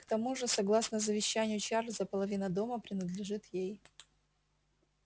к тому же согласно завещанию чарлза половина дома принадлежит ей